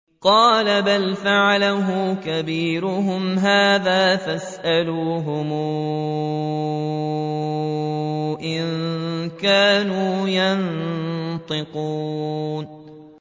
قَالَ بَلْ فَعَلَهُ كَبِيرُهُمْ هَٰذَا فَاسْأَلُوهُمْ إِن كَانُوا يَنطِقُونَ